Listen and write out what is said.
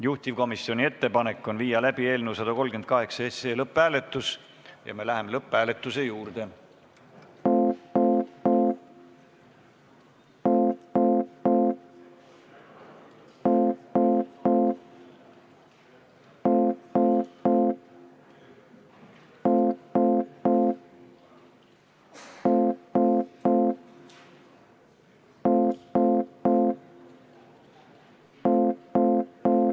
Juhtivkomisjoni ettepanek on viia läbi eelnõu 138 lõpphääletus ja me läheme lõpphääletuse juurde.